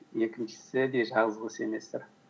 екіншісі де жазғы семестр